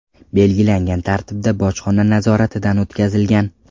belgilangan tartibda bojxona nazoratidan o‘tkazilgan.